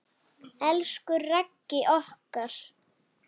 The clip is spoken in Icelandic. Elsku Raggi okkar.